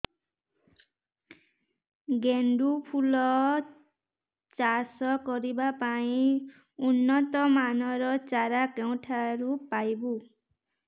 ଗେଣ୍ଡୁ ଫୁଲ ଚାଷ କରିବା ପାଇଁ ଉନ୍ନତ ମାନର ଚାରା କେଉଁଠାରୁ ପାଇବୁ